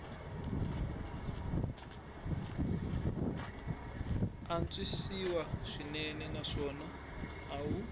antswisiwa swinene naswona a wu